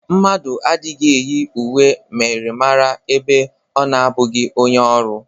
Mmadụ agaghị eyi uwe myịrịmara ebe ọ na-abụghị onye ọrụ.